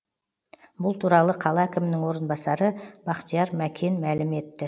бұл туралы қала әкімінің орынбасары бақтияр мәкен мәлім етті